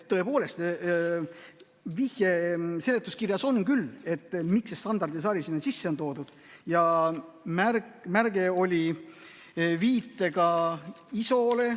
Tõepoolest, vihje seletuskirjas küll on, et miks see standardisari sinna sisse on toodud ja märge oli viitega ISO‑le.